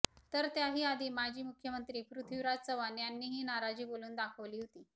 तर त्याही आधी माजी मुख्यमंत्री पृथ्विराज चव्हाण यांनीही नाराजी बोलून दाखवली होती